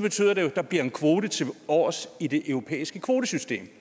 betyder det at der bliver en kvote tilovers i det europæiske kvotesystem